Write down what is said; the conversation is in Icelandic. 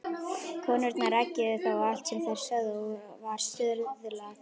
Konurnar eggjuðu þá og allt sem þær sögðu var stuðlað.